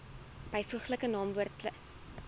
byvoeglike naamwoord plus